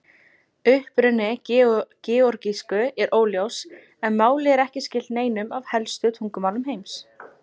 Uppruni georgísku er óljós en málið er ekki skylt neinum af helstu tungumálum heims.